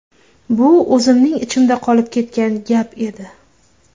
Bu o‘zimning ichimda qolib ketgan gap edi.